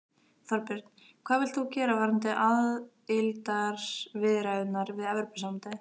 Þorbjörn: Hvað vilt þú gera varðandi aðildarviðræðurnar við Evrópusambandið?